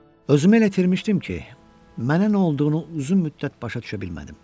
Özümü elə itirmişdim ki, mənə nə olduğunu uzun müddət başa düşə bilmədim.